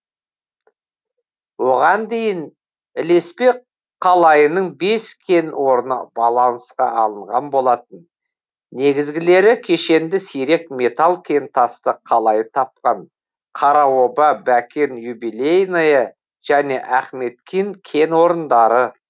оған дейін ілеспе қалайының бес кен орны балансқа алынған болатын негізгілері кешенді сирек металл кентасты қалайы тапқан қараоба бәкен юбилейное және ахметкин кен орындары